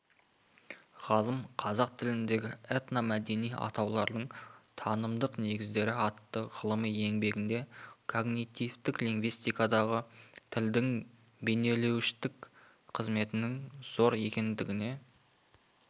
ғалым қазақ тіліндегі этномәдени атаулардың танымдық негіздері атты ғылыми еңбегінде когнитивтік лингвистикадағы тілдің бейнелеуіштік қызметінің зор екендігіне